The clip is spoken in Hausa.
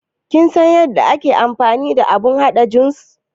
Kin san yadda ake amfani da abun haɗa jus?